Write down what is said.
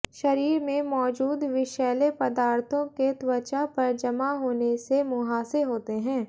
शरीर में मौजूद विषैले पदार्थों के त्वचा पर जमा होने से मुहासे होते हैं